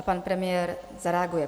A pan premiér zareaguje.